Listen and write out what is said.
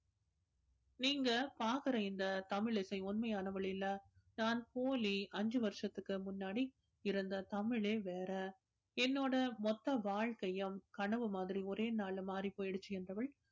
நீங்க பார்க்கிற இந்த தமிழிசை உண்மையானவள் இல்ல, நான் போலி, அஞ்சு வருஷத்துக்கு முன்னாடி இருந்த தமிழே வேற என்னோட மொத்த வாழ்க்கையும் கனவு மாதிரி ஒரே நாள்ல மாறிப் போயிடுச்சு என்றவள்